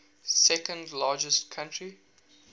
second largest country